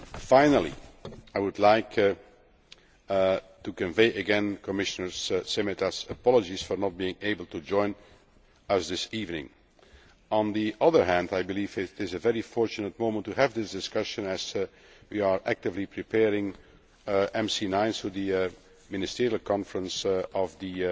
Finally, I would like to convey again Commissioner Šemeta's apologies for not being able to join us this evening. On the other hand, I believe it is a very fortunate moment to have this discussion, as we are actively preparing MC9 the ministerial conference of